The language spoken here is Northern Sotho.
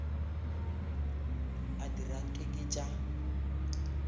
a dira nke ke tša